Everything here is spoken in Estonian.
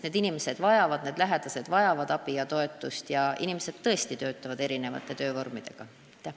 Need inimesed, need hooldajad vajavad abi ja toetust ning nad tõesti töötavad erinevaid töövorme kasutades.